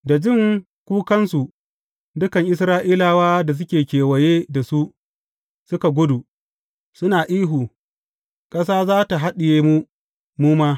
Da jin kukansu, dukan Isra’ilawa da suke kewaye da su suka gudu, suna ihu, Ƙasa za tă haɗiye mu, mu ma!